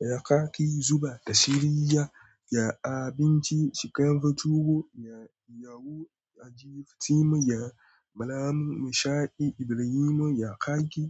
ya kaki zuba da shariya, ya abinci shika yafi tubo, ya yawo a jifitimu, ya malamu nishaɗi Ibrahimu ya kaki.